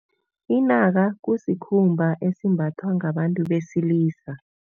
Inaka kusikhumba esimbathwa ngabantu besilisa.